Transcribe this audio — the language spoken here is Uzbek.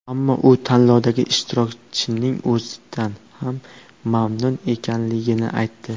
Ammo u tanlovdagi ishtirokining o‘zidan ham mamnun ekanligini aytdi.